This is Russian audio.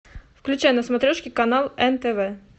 включай на смотрешке канал нтв